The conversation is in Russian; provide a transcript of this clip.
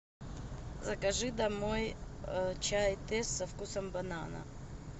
закажи домой чай тесс со вкусом банана